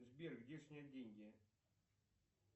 сбер где снять деньги